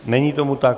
Není tomu tak.